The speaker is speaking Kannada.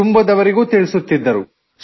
ಕುಟುಂಬದವರಿಗೂ ತಿಳಿಸುತ್ತಿದ್ದರು